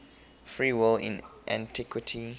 free will in antiquity